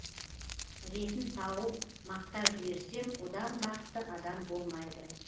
ретін тауып мақтап жіберсем одан бақытты адам болмайды